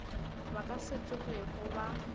ba ka se tsogego ba